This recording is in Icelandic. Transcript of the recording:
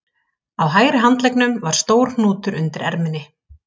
Á hægri handleggnum var stór hnútur undir erminni